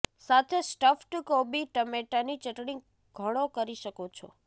સાથે સ્ટફ્ડ કોબી ટમેટાની ચટણી ઘણો કરી શકો છો